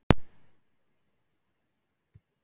Þótt mér finnist ástæðurnar dálítið skrítnar.